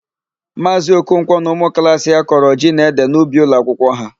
Maazị Okonkwọ na ụmụklaasị ya kọrọ ji na ede n'ubi ụlọakwụkwọ ha.